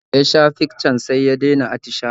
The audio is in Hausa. Da ya sha piccan sai ya dai na attishawa